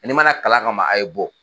n'i man na kalan ka ma a' ye bɔ.